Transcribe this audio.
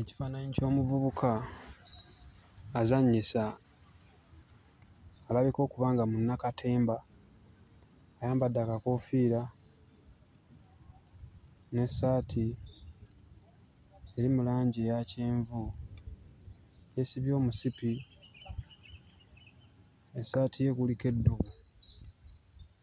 Ekifaananyi ky'omuvubuka azannyisa alabika okuba nga munnakatemba, ayambadde akakoofiira n'essaati eri mu langi eya kyenvu. Yeesibye omusipi, essaati ye kuliko eddubu,